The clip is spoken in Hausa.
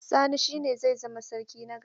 Sani shine zai zama sarki na gaba.